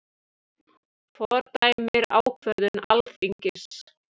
Fordæmir ákvörðun Alþingis